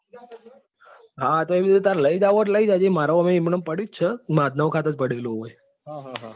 હા એ તો તાર લઈ જવું હોય તો લઇ જજે મારે એમ પણ એમય પડ્યું છે માંધાનાવ ખાતર પડ્યું છે અહી.